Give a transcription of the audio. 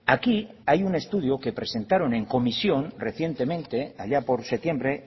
aquí hay un estudio que presentaron en comisión recientemente allá por septiembre